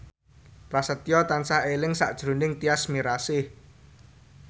Prasetyo tansah eling sakjroning Tyas Mirasih